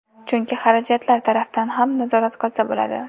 Chunki xarajatlar tarafdan ham nazorat qilsa bo‘ladi.